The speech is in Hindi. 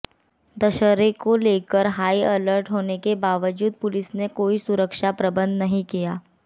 दशहरे को लेकर हाई अलर्ट होने के बावजूद पुलिस ने कोई सुरक्षा प्रबंध नहीं किया